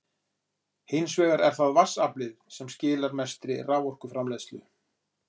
Hins vegar er það vatnsaflið sem skilar mestri raforkuframleiðslu.